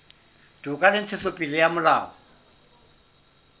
toka le ntshetsopele ya molao